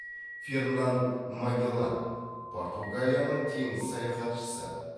фернан магеллан португалияның теңіз саяхатшысы